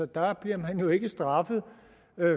der bliver man jo ikke straffet